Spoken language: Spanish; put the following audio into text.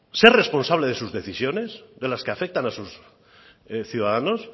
ser responsable de sus decisiones de las que afectan a sus ciudadanos